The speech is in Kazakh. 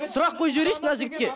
сұрақ қойып жіберейінші мына жігітке